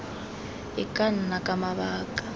e ka nna ka mabaka